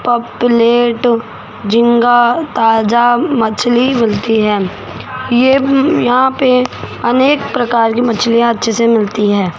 Cup plate झींगा ताजा मछली मिलती है ये यहां पे अनेक प्रकार की मछलियां अच्छे से मिलती है।